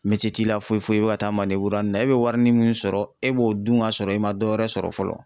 t'i la foyi foyi i bɛ ka taa ya nin na, e bɛ warinin min sɔrɔ e b'o dun ka sɔrɔ i ma dɔ wɛrɛ sɔrɔ fɔlɔ.